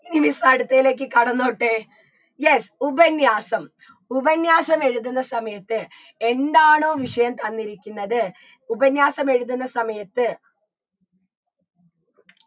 ഇനി miss അടുത്തേലേക്ക് കടന്നോട്ടെ yes ഉപന്യാസം ഉപന്യാസം എഴുതുന്ന സമയത്ത് എന്താണോ വിഷയം തന്നിരിക്കുന്നത് ഉപന്യാസം എഴുതുന്ന സമയത്ത്